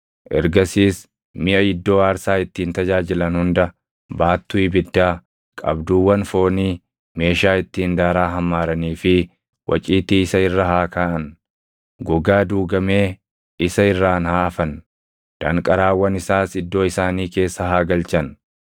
Ergasiis miʼa iddoo aarsaa ittiin tajaajilan hunda, baattuu ibiddaa, qabduuwwan foonii, meeshaa ittiin daaraa hammaaranii fi waciitii isa irra haa kaaʼan. Gogaa duugamee isa irraan haa afan; danqaraawwan isaas iddoo isaanii keessa haa galchan.